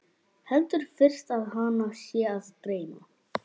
Heldur fyrst að hana sé að dreyma.